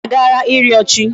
Anyị a agaala ịrịọ chi.